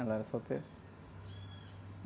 Ela era solteira.